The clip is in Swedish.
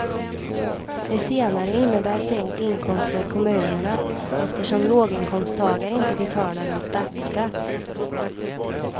Det senare innebär sänkt inkomst för kommunerna eftersom låginkomsttagare inte betalar någon statsskatt.